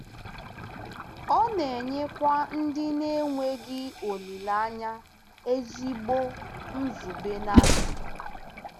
Ọ na-enyekwa ndị na-enweghị olileanya ezigbo nzube na ndụ.